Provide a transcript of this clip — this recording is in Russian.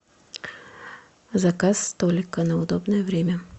заказ столика на удобное время